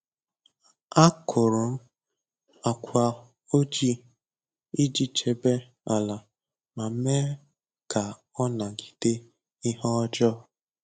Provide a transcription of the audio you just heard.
Akụrụ m agwa oji iji chebe ala ma mee ka ọ nagide ihe ọjọọ.